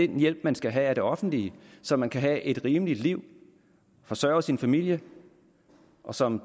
den hjælp man skal have af det offentlige så man kan have et rimeligt liv forsørge sin familie og som